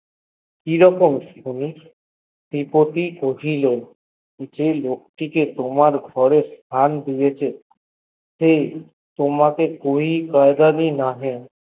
কিরকম শুনি ত্রি পটি কহিল যে লোকটিকে তোমার ঘরে স্থান দিয়েছে সে তোমাকে কি কাঁদলে নহে